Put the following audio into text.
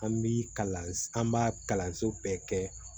An bi kalan an b'a kalanso bɛɛ kɛ